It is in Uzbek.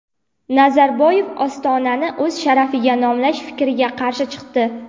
Nazarboyev Ostonani o‘z sharafiga nomlash fikriga qarshi chiqdi.